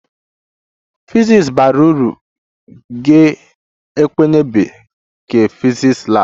The physics bara uru ga-ẹkenịmde ke physics lab